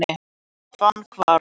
Fannahvarfi